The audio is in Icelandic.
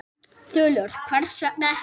Þulur: Hvers vegna ekki?